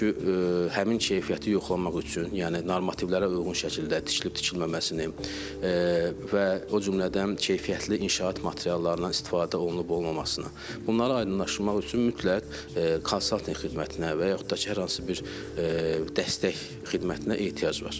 Çünki həmin keyfiyyəti yoxlamaq üçün, yəni normativlərə uyğun şəkildə tikilib-tikilməməsini və o cümlədən keyfiyyətli inşaat materiallarından istifadə olunub-olunmamasını bunları aydınlaşdırmaq üçün mütləq konsaltinq xidmətinə və yaxud da ki, hər hansı bir dəstək xidmətinə ehtiyac var.